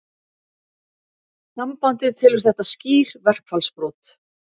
Sambandið telur þetta skýr verkfallsbrot